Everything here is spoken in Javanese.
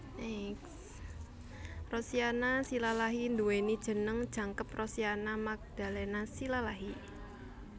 Rosiana Silalahi nduwèni jeneng jangkep Rosiana Magdalena Silalahi